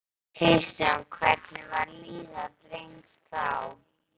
Kristján: Hvernig var líðan drengs þá?